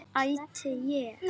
Átti ég.